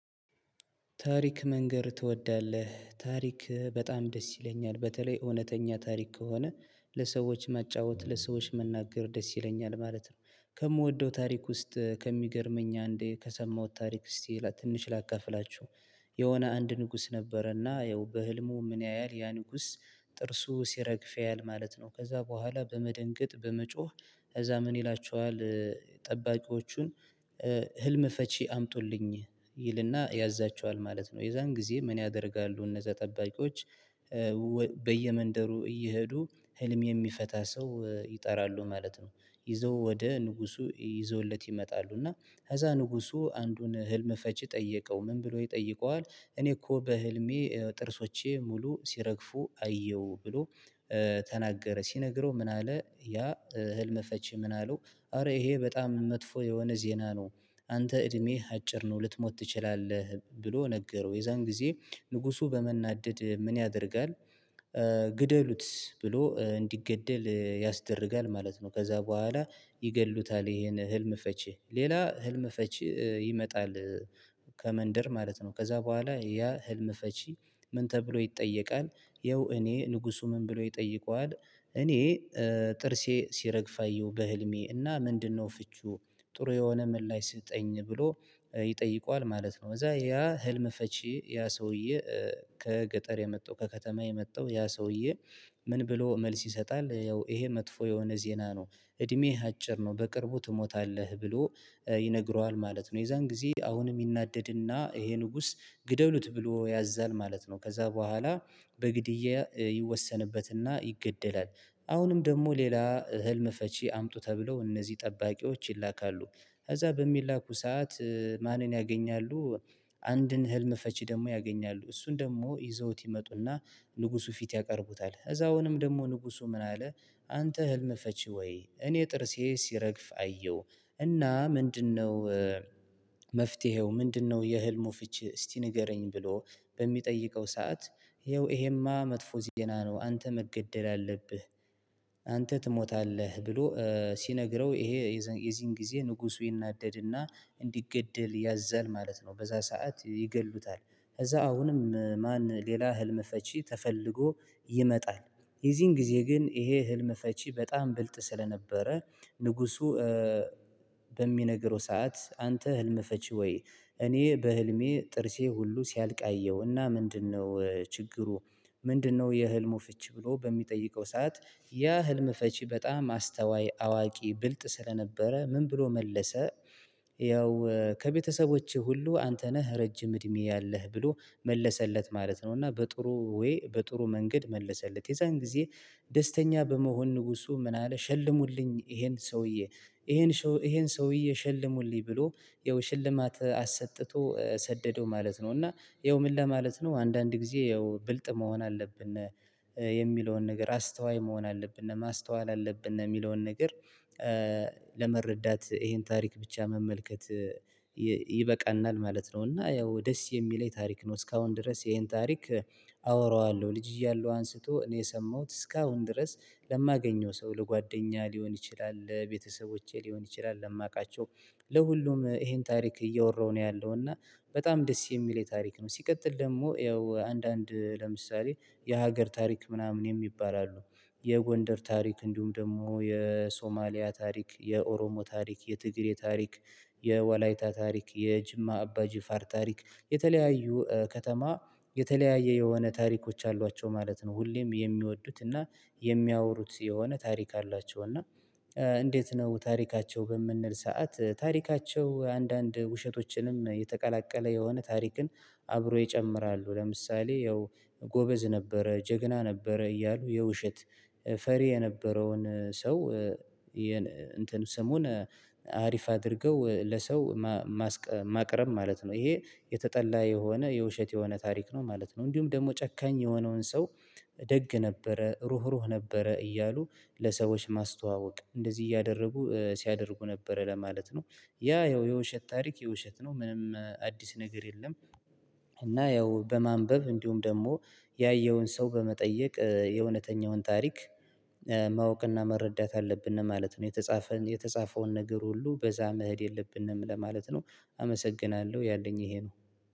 ታሪክ መንገር ትወዳለህ? ታሪክ በጣም ደስ ይለኛል። በተለይ እውነተኛ ታሪክ ከሆነ ለሰዎች መጫወት ለሰዎች መናገር ደስ ይለኛል ማለት ነው። ከምወደው ታሪክ ውስጥ ከሚገርመኝ አንዴ ከሰማሁት ታሪክ እስቲ ትንሽ ላካፍላችሁ የሆነ አንድ ንጉስ ነበረና ያው በህልሙ ምን ያያል ያ ንጉስ ጥርሱ ሲረግፍ ያያል ማለት ነው። ከዛ በኋላ በመደንገጥ በመጮህ ከዛ ምን ይላቸዋል ጠባቂዎቹን ህልም ፈቺ አምጡልኝ ይልና ያዛቸዋል ማለት ነው የዛን ጊዜ ምን ያደርጋሉ እነዛ ጠባቂዎች በየመንደሩ እየሄዱ ህልም የሚፈታ ሰው ይጠራሉ ማለት ነው። ይዘው ወደ ንጉሱ ይዘውለት ይመጣሉ እና ከዛ ንጉሱ አንዱን ህልም ፈቺ ጠየቀው ምን ብሎ ይጠይቀዋል እኔ እኮ በህልሜ ጥርሶቼ ሙሉ ሲረግፉ አየሁ ብሎ ተናገረ ሲነግረው ምን አለ ያ ህልም ፈቺ ምን አለው አረ ይሄ በጣም መጥፎ የሆነ ዜና ነው አንተ እድሜህ አጭር ነው ልትሞት ትችላለህ ብሎ ነገረው የዛን ጊዜ ንጉሱ በመናደድ ምን ያደርጋል ግደሉት ብሎ እንዲገደል ያስደርጋል ማለት ነው። ከዛ ቦኋላ ይገድሉታል ይሄን ህልም ፈቺ ሌላ ህልም ፈቺ ይመጣል ከመንደር ማለት ነው ከዛ ቦኋላ ያ ህልም ፈቺ ምን ተብሎ ይጠየቃል ያው እኔ ንጉሱ ምን ብሎ ይጠይቀዋል እኔ ጥርሴ ሲረግፍ አየሁ በህልሜ እና ምንድነው ፍቺው ጥሩ የሆነ ምላሽ ስጠኝ ብሎ ይጠይቀዋል ማለት ነው። እዛ ያ ህልም ፈቺ ያ ሰውዬ ከገጠር የመጣው ከከተማ የመጣው ያ ሰውዬ ምን ብሎ መልስ ይሰጣል ያው ይሄ መጥፎ የሆነ ዜና ነው እድሜህ አጭር ነው በቅርቡ ትሞታለህ ብሎ ይነግረዋል ማለት ነው የዛን ጊዜ አሁንም ይናደድና ይሄ ንጉስ ግደሉት ብሎ ያዛል ማለት ነው። ከዛ በኋላ በግድያ ይወሰንበትና ይገደላል አሁንም ደግሞ ሌላ ህልም ፈቺ አምጡ ተብለው እነዚህ ጠባቂዎች ይላካሉ ከዛ በሚላኩ ሰዓት ማንን ያገኛሉ አንድን ህልም ፈቺ ደግሞ ያገኛሉ እሱን ደግሞ ይዘውት ይመጡና ንጉሱ ፊት ያቀርቡታል እዛውንም ደግሞ ንጉሱ ምን አለ አንተ ህልም ፈቺ ወይ እኔ ጥርሴ ሲረግፍ አየሁ እና ምንድነው? መፍትሄው ምንድነው የህልሙ ፍቺ እስቲ ንገረኝ ብሎ በሚጠይቀው ሰዓት ይኸው ይሄማ መጥፎ ዜና ነው አንተ መገደል አለብህ። አንተ ትሞታለህ ብሎ ሲነግረው ይሄ የዚህን ጊዜ ንጉሱ ይናደድና እንዲገደል ያዛል ማለት ነው በዛ ሰዓት ይገድሉታል ከዛ አሁንም ማን ሌላ ህልም ፈቺ ተፈልጎ ይመጣል የዚህን ጊዜ ግን ይሄ ህልም ፈቺ በጣም ብልጥ ስለነበረ ንጉሱ በሚነግረው ሰዓት አንተ ህልም ፈቺ ወይ እኔ በህልሜ ጥርሴ ሁሉ ሲያልቅ አየሁና ምንድነው ችግሩ ምንድነው የህልሙ ፈቺ ብሎ በሚጠይቀው ሰዓት ያ ህልም ፈቺ በጣም አስተዋይ አዋቂ ብልጥ ስለነበረ ምን ብሎ መለሰ ያው ከቤተሰቦቼ ሁሉ አንተ ነህ ረጅም እድሜ ያለህ ብሎ መለሰለት ማለት ነው እና በጥሩ ወይ በጥሩ መንገድ መለሰለት የዛን ጊዜ ደስተኛ በመሆን ንጉሱ ምን አለ ሸልሙልኝ ይሄን ሰውዬ ይሄን ሰውዬ ሸልሙልኝ ብሎ ያው ሽልማት አሰጥቶ ሰደደው ማለት ነው እና ይኸው ምን ለማለት ነው አንዳንድ ጊዜ ይኸው ብልጥ መሆን አለብን የሚለውን ነገር አስተዋይ መሆን አለብን ማስተዋል አለብን የሚለውን ነገር ለመረዳት ይሄን ታሪክ ብቻ መመልከት ይበቃናል ማለት ነው። እና ያው ደስ የሚለኝ ታሪክ ነው እስካሁን ድረስ ይሄን ታሪክ አወራዋለሁ ልጅ እያለሁ አንስቶ እኔ የሰማሁት እስካሁን ድረስ ለማገኘው ሰው ለጓደኛ ሊሆን ይችላል ለቤተሰቦቼ ሊሆን ይችላል ለማውቃቸው ለሁሉም ይሄን ታሪክ እየወራው ነው ያለው እና በጣም ደስ የሚል የታሪክ ነው ሲቀጥል ደግሞ ያው አንዳንድ ለምሳሌ የሀገር ታሪክ ምናምን የሚባል አሉ የጎንደር ታሪክ እንዲሁም ደግሞ የሶማሊያ ታሪክ የኦሮሞ ታሪክ የትግሬ ታሪክ የወላይታ ታሪክ የጅማ አባ ጅፋር ታሪክ የተለያዩ ከተማ የተለያየ የሆነ ታሪኮች አሏቸው ማለት ነው ሁሌም የሚወዱት እና የሚያወሩት የሆነ ታሪክ አላቸው እና እንዴት ነው ታሪካቸው በምንል ሰዓት ታሪካቸው አንዳንድ ውሸቶችንም የተቀላቀለ የሆነ ታሪክን አብሮ ይጨምራሉ ለምሳሌ ያው ጎበዝ ነበረ ጀግና ነበረ እያሉ የውሸት ፈሪ የነበረውን ሰው እንትን ስሙን አሪፍ አድርገው ለሰው ማስቀም ማቅረብ ማለት ነው ይሄ የተጠላ የሆነ የውሸት የሆነ ታሪክ ነው ማለት ነው። እንዲሁም ደግሞ ጨካኝ የሆነውን ሰው ደግ ነበረ ሩህሩህ ነበረ እያሉ ለሰዎች ማስተዋወቅ እንደዚህ እያደረጉ ሲያደርጉ ነበረ ለማለት ነው ያ ያው የውሸት ታሪክ የውሸት ነው ምንም አዲስ ነገር የለም እና ያው በማንበብ እንዲሁም ደግሞ ያየውን ሰው በመጠየቅ የእውነተኛውን ታሪክ ማወቅና መረዳት አለብን ማለት ነው። የተጻፈውን የተጻፈውን ነገር ሁሉ በዛ መሄድ የለብንም ለማለት ነው አመሰግናለሁ ያለኝ ይሄ ነው።